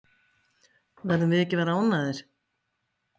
Verðum við ekki að vera ánægðir?